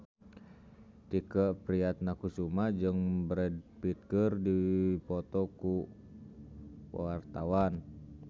Tike Priatnakusuma jeung Brad Pitt keur dipoto ku wartawan